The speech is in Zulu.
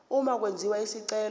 uma kwenziwa isicelo